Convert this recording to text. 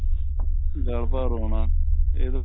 ਗੱਲ ਭਰ ਆਉਣਾ ਇਹਦਾ